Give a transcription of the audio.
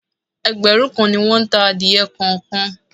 Ẹgbẹ̀rún kan ni won ta adìẹ kọ̀ọ̀kan.